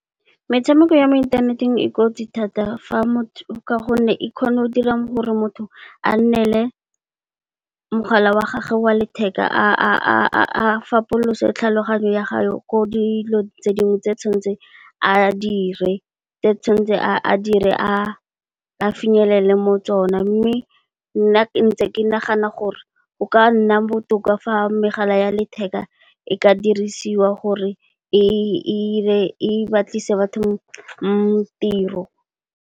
Metshameko ya mo inthaneteng e kotsi thata ka gonne, e kgona go dira gore motho a nnele mogala wa gage wa letheka, a fapolose tlhaloganyo ya gage ko dilo tse dingwe tse tshwanetseng a di dire a finyelele mo tsona. Mme, nna ke ntse ke nagana gore go ka nna botoka fa megala ya letheka e ka dirisiwa gore e batlisise batho tiro.